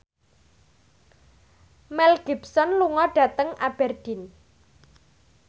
Mel Gibson lunga dhateng Aberdeen